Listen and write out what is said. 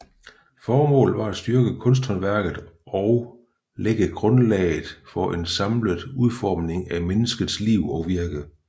Formålet var at styrke kunsthåndværket og lægge grundlaget for en samlet udformning af menneskets liv og virke